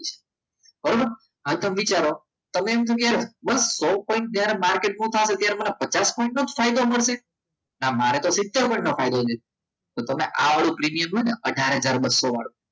બરાબર હવે તમે વિચારો તમને તો એમ થયું કે સો પોઈન્ટ જ્યારે માર્કેટમાં ચાલે ત્યારે મને પચાસ પોઇંટ નો જ ફાયદો મળશે ના મારે તો સીતેર પોઇંટ મળશે તો તમે આ વાળું પ્રીમિયમ હોય ને અઢાર હજાર બસો વાળો